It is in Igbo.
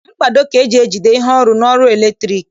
Mkpado ka eji ejigide ihe ọrụ n'ọrụ latriki